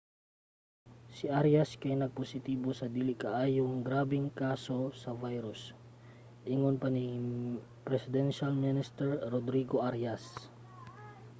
si arias kay nagpositibo sa dili kaayo grabeng kaso sa virus ingon pa ni presidential minister rodrigo arias